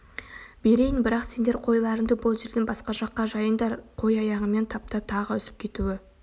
берейін бірақ сендер қойларынды бұл жерден басқа жаққа жайыңдар қой аяғымен таптап тағы үзіп кетуі